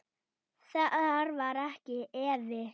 Þar var ekki efi.